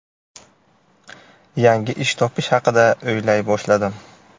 Yangi ish topish haqida o‘ylay boshladim.